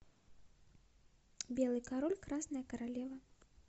белый король красная королева